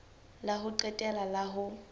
la ho qetela la ho